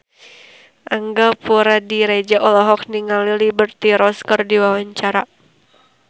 Angga Puradiredja olohok ningali Liberty Ross keur diwawancara